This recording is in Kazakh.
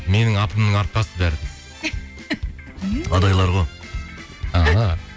менің атымның арқасы бәрі адайлар ғой ааа